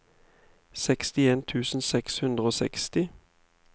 sekstien tusen seks hundre og seksti